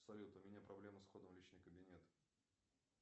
салют у меня проблема с входом в личный кабинет